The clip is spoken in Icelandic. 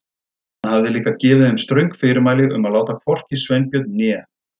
Hann hafði líka gefið þeim ströng fyrirmæli um að láta hvorki Sveinbjörn né